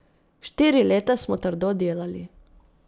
Štiri leta smo trdo delali.